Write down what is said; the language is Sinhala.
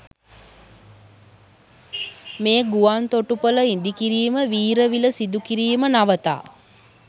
මේ ගුවන් තොටුපළ ඉදිකිරීම වීරවිල සිදුකිරීම නවතා